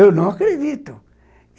Eu não acredito.